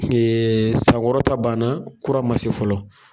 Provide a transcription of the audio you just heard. san wɔrɔ ta banna, kura ma se fɔlɔ.